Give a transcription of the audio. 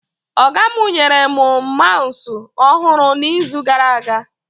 Ọga mụ nyere mụ maụsụ ọhụrụ na izu gara aga